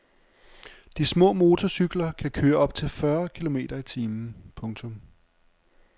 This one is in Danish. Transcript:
De små motorcykler kan køre op til fyrre kilometer i timen. punktum